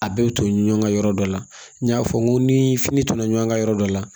A bɛɛ bɛ to ɲɔn ka yɔrɔ dɔ la n y'a fɔ n ko ni fini tora ɲɔn ka yɔrɔ dɔ la